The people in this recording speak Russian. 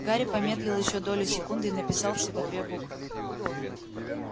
гарри помедлил ещё долю секунды и написал всего две буквы